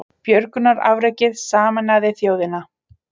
Björgunarafrekið sameinaði þjóðina